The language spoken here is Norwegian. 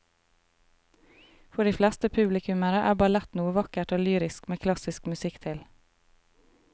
For de fleste publikummere er ballett noe vakkert og lyrisk med klassisk musikk til.